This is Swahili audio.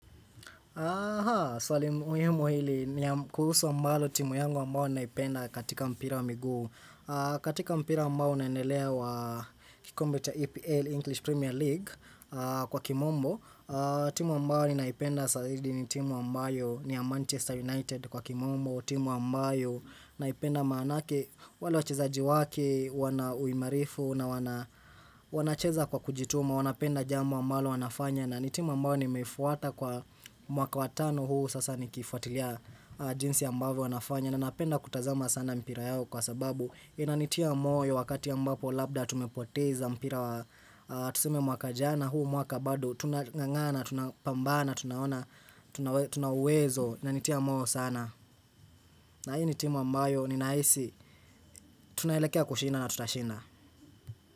Aha, swali muhimu hili ni kuhusu ambalo timu yangu ambalo naipenda katika mpira wa miguu. Katika mpira ambao unaenelea wa kikombe cha EPL English Premier League kwa kimombo. Timu ambalo naipenda zaidi ni timu ambayo ni Manchester United kwa kimombo. Timu ambayo naipenda manake wale wachezaji wake, wana uimarifu na wanacheza kwa kujituma. Wanapenda jambo ambalo wanafanya na ni timu ambayo nimefwata kwa mwaka wa tano huu sasa nikifuatilia jinsi ambavyo wanafanya na napenda kutazama sana mpira yao kwa sababu inanitia moyo wakati ambapo labda tumepoteza mpira wa tusume mwaka jana huu mwaka badu tunang'ang'ana tunapambana tuna uwezo inanitia moyo sana na hii ni timu ambayo ninahisi tunaelekea kushinda na tutashinda.